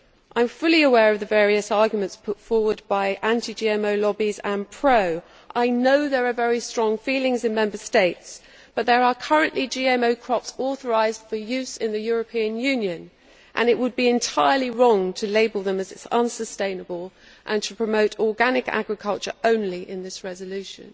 I am fully aware of the various arguments put forward by anti GMO lobbies and pro. I know there are very strong feelings in Member States, but there are currently GMO crops authorised for use in the European Union, and it would be entirely wrong to label them as unsustainable and to promote organic agriculture only in this resolution.